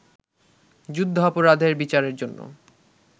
যুদ্ধাপরাধের বিচারের জন্য